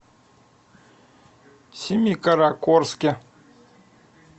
семикаракорске